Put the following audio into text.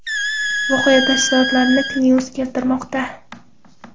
Voqea tafsilotlarini K-News keltirmoqda .